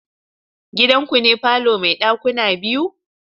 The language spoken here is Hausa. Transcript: Gidanku ne falo mai dakuna biyu?